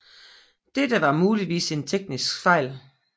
Dette var muligvis en taktisk fejl